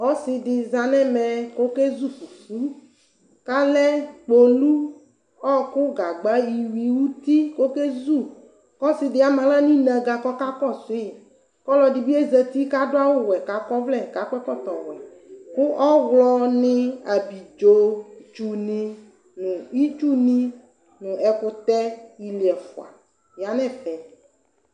Ɔsidi za nʋ ɛmɛ kʋ okezʋ fʋfʋ kʋ alɛ kpolʋ ɔkʋ gagba iwui kʋ ɔkezʋ kʋ ɔsidi ama aɣla nʋ inaga kʋ ɔka kɔsʋ yi kʋ ɔlɔdi bi zati kʋ adʋ awʋwɛ kʋ akɔ ɔvlɛ kakɔ ɛkɔtɔwɛ kʋ ɔwlɔni abidzotsʋ ni nʋ itsu ni nʋ ɛkʋtɛ ili ɛfʋa yanʋ ɛfɛ